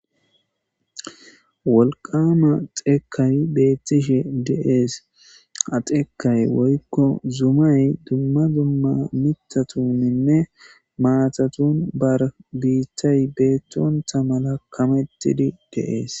Wolqama xekay betishe dees ha xekay woyko zumay duma duma mithatunne matatun bitay betonta mala kametidi de'es.